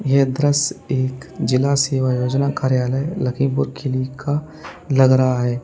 यह दृश्य एक जिला सेवायोजन कार्यालय लखीमपुर खीरी का लग रहा है।